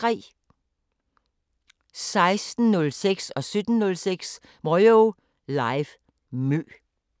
16:06: Moyo Live: MØ 17:06: Moyo Live: MØ